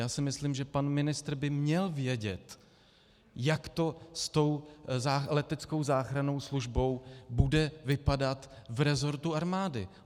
Já si myslím, že pan ministr by měl vědět, jak to s tou leteckou záchrannou službou bude vypadat v resortu armády.